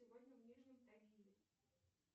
сегодня в нижнем тагиле